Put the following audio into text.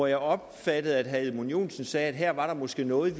jeg opfattede at herre edmund joensen sagde at her er der måske noget